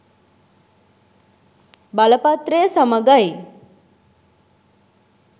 බලපත්‍රය සමගයි